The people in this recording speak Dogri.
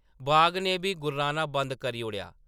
बाघ ने बी गुर्राना बंद करी ओड़ेआ।